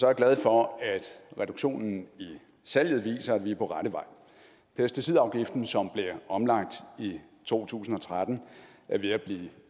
jeg glad for at reduktionen i salget viser at vi er på rette vej pesticidafgiften som blev omlagt i to tusind og tretten er ved at blive